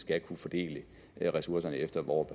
kunne fordele ressourcerne efter hvor